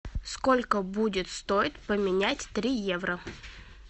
сколько будет стоить поменять три евро